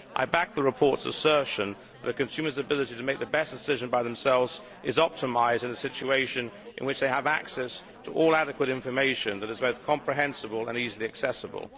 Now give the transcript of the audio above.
I backed the report's assertion that consumers' ability to make the best decision by themselves is optimised in a situation in which they have access to all adequate information which is both comprehensible and easily accessible.